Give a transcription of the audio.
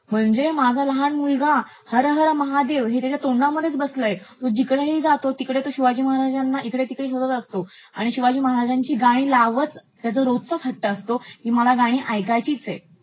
म्हणजे माझा लहान मुलगा हर हर महदेव हे त्याच्या तोंडामधअयेच बसलयं, तो जिकडेही जातो तिकडे शिवाजी महाराजांना इकडे तिकडे शोधत असतो आणि शिवाजी महाराजांची गाणी लावचं असा त्याचा रोजचाच हट्ट् असतो, की मला गाणी ऐकायचीच आहेत.